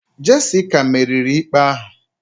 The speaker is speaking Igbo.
Jessica meriri ikpe ahụ